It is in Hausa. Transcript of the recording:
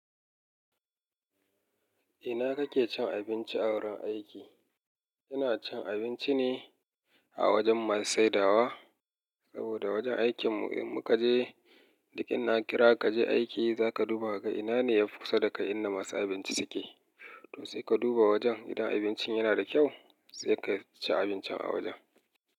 Ina kake cin abinci a wurin aiki? Kina cin abinci ne a wajen masu saidawa? Saboda wajen aikin mu in muka je, duk in na kira ka je aiki za ka duba ka ina ne yafi kusa da kai inda masu abinci suke. To sai ka duba wajen idan abincin yana da kyau, sai ka ci abincin a wajen.